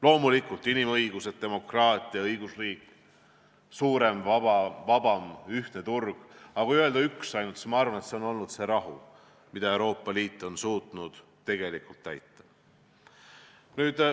Loomulikult, inimõigused, demokraatia, õigusriik, suurem, vabam ja ühtne turg, aga kui öelda ainult üks asi, siis ma arvan, et see on olnud rahu, mida Euroopa Liit on suutnud tegelikult tagada.